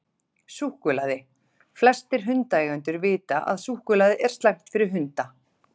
Súkkulaði: Flestir hundaeigendur vita að súkkulaði er slæmt fyrir hunda.